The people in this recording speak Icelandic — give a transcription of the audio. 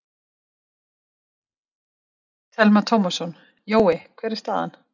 Telma Tómasson: Jói, hver er staðan?